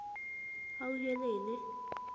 hauhelele